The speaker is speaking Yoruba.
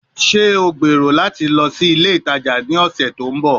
Ṣe o gbero lati lọ si ile itaja ni ọsẹ to nbọ?